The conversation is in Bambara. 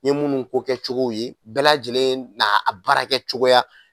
N ye minnu kokɛcogo ye bɛɛ lajɛlen n'a baarakɛcogoya